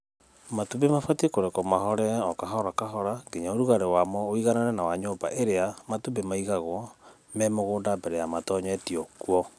Matumbĩ mabatiĩ kũrekwo mahore o kahora kahora nginya ũrugarĩ wamo ũiganane na wa nyũmba ĩrĩa matumbĩ maigagwo me mũgũnda mbere ya matonyetio kuo.